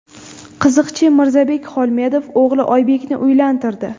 Qiziqchi Mirzabek Xolmedov o‘g‘li Oybekni uylantirdi .